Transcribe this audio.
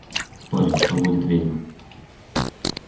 спорим что будет ведьма